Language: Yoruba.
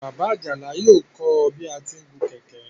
Bàbá Àjàlá yóò kọ́ ọ bí a ti ń gun kẹ̀kẹ́.